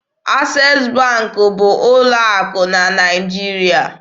Access Bank bụ ụlọ akụ na Naịjirịa.